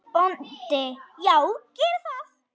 BÓNDI: Já, gerið það.